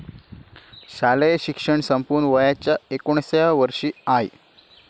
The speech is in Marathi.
शालेय शिक्षण संपवून वयाच्या एकोणिसाव्या वर्षी आय.